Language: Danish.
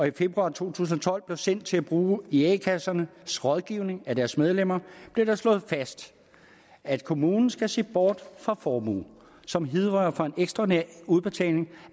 i februar to tusind og tolv blev sendt til brug i a kassernes rådgivning af deres medlemmer blev det slået fast at kommunen skal se bort fra formue som hidrører fra en ekstraordinær udbetaling